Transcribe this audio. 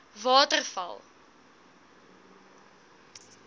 waterval